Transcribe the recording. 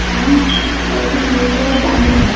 वहां में भी टी स्टॉल बंद है।